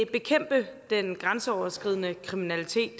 bekæmpe den grænseoverskridende kriminalitet